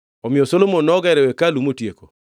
Omiyo Solomon nogero hekalu motieke.